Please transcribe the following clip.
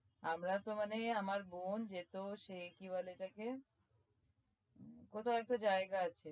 আমরা তো মানে আমার বোন যেত সে কি বলে এটাকে কোথায় একটা জায়গা আছে